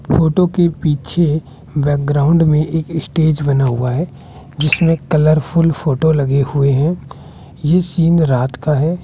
Photo के पीछे background में एक स्टेज बना हुआ है जिसमें कलरफुल फोटो लगे हुए हैं ये सीन रात का है।